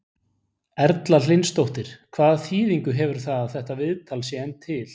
Erla Hlynsdóttir: Hvaða þýðingu hefur það að þetta viðtal sé enn til?